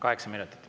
Kaheksa minutit.